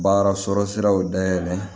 Baara sɔrɔ siraw dayɛlɛ